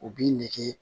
U b'i nege